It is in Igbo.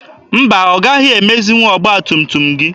Mba, ọ gaghị emezinwu ọgba tum tum gị.